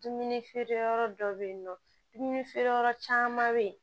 Dumuni feere yɔrɔ dɔ bɛ yen nɔ dumuni feere yɔrɔ caman bɛ yen